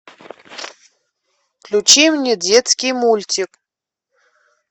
включи мне детский мультик